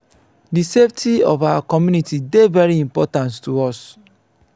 di safety of our community dey very important to us.